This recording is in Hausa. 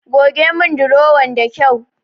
Goge mun durowan da kyau.